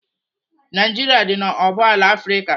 Naijiria dị n'oboala Afrịka.